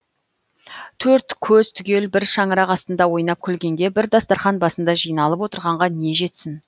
төрт көз түгел бір шаңырақ астында ойнап күлгенге бір дастарқан басында жиналып отырғанға не жетсін